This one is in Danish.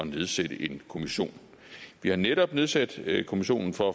nedsætte en kommission vi har netop nedsat kommissionen for